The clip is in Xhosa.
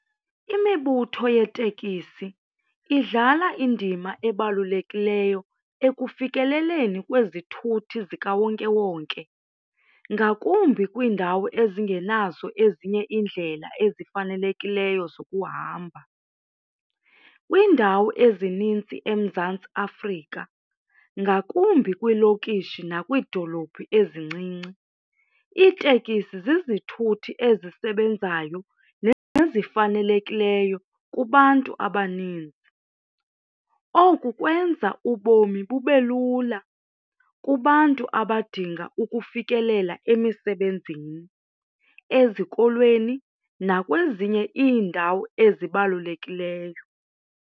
Imibutho yetekisi idlala indima ebalulekileyo ekufikeleleni kwezithuthi zikawonkewonke ngakumbi kwiindawo ezingenazo ezinye iindlela ezifanelekileyo zokuhamba. Kwiindawo ezinintsi eMzantsi Afrika, ngakumbi kwiilokishi nakwiidolophu ezincinci iitekisi zizithuthi ezisebenzayo nezifanelekileyo kubantu abaninzi. Oku kwenza ubomi bube lula kubantu abadinga ukufikelela emisebenzini, ezikolweni nakwezinye iindawo ezibalulekileyo.